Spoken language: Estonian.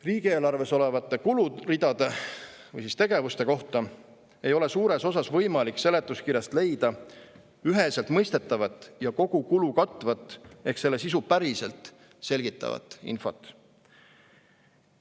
Riigieelarves olevate kuluridade või tegevuste kohta ei ole suures osas võimalik seletuskirjast leida üheselt mõistetavat ja kogukulu katvat ehk selle sisu päriselt selgitavat infot.